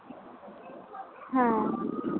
হ্যাঁ